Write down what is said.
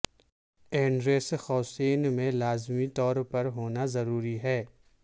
address قوسین میں لازمی طور پر ہونا ضروری ہے